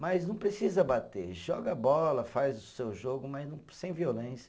Mas não precisa bater, joga bola, faz o seu jogo, mas não, sem violência.